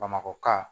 Bamakɔka